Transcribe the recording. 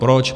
Proč?